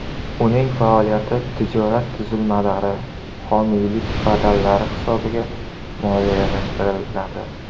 Uning faoliyati tijorat tuzilmalari homiylik badallari hisobiga moliyalashtiriladi.